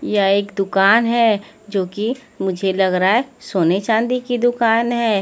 यह एक दुकान है जो कि मुझे लग रहा है सोने चांदी की दुकान है।